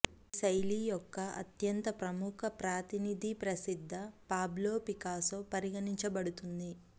ఈ శైలి యొక్క అత్యంత ప్రముఖ ప్రతినిధి ప్రసిద్ధ పాబ్లో పికాసో పరిగణించబడుతుంది